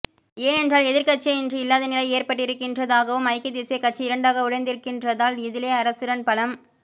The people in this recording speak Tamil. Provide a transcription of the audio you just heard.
ஏனென்றால் எதிர்க்கட்சியே இன்று இல்லாத நிலை ஏற்பட்டிருக்கின்றதாகவும் ஐக்கிய தேசியக் கட்சி இரண்டாக உடைந்திருக்கின்றதால் இதிலே அரசுடன் பலம்